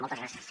moltes gràcies